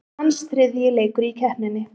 Hans þriðji leikur í keppninni